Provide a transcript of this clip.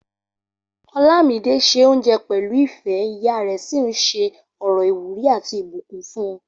Olámidé se oúnjẹ pẹ̀lú ìfẹ́, ìyá rẹ̀ sì ń ṣe ọ̀rọ̀ ìwúrí àti ìbùkún fún.